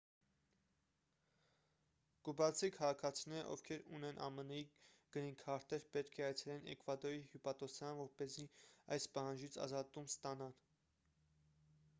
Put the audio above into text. կուբացի քաղաքացիները ովքեր ունեն ամն-ի գրինքարտեր պետք է այցելեն էկվադորի հյուպատոսարան որպեսզի այս պահանջից ազատում ստանան